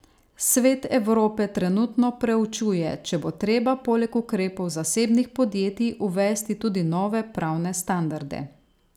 Svet Evrope trenutno preučuje, če bo treba poleg ukrepov zasebnih podjetij uvesti tudi nove pravne standarde.